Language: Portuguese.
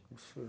Absurdo.